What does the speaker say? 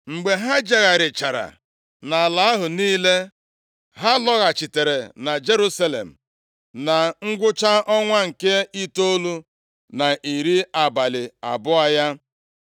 Mgbe ha jegharịchara nʼala ahụ niile; ha lọghachitere na Jerusalem na ngwụcha ọnwa nke itoolu na iri abalị abụọ ya.